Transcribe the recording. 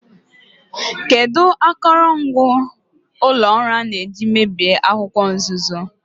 Kedu akụrụngwa ụlọ ọrụ a na-eji mebie akwụkwọ nzuzo?